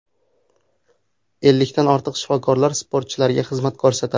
Ellikdan ortiq shifokorlar sportchilarga xizmat ko‘rsatadi”.